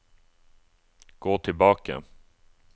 gå tilbake